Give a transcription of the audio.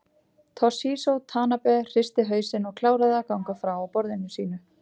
Toshizo Tanabe hristi hausinn og kláraði að gagna frá á borðinu sínu.